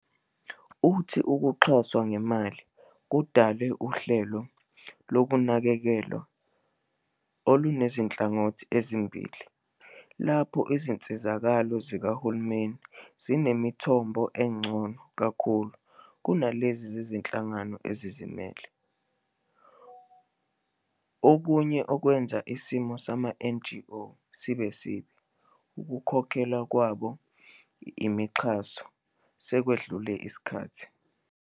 Uthi ukuxhaswa ngemali kudale uhlelo lokunakekelwa olunezinhlangothi ezimbili, lapho izinsizakalo zikahulumeni zinemithombo engcono kakhulu kunezinye zezinhlangano ezizimele. Okunye okwenza isimo sama-NGO sibe sibi ukukhokhelwa kwabo yimixhaso sekwedlule isikhathi.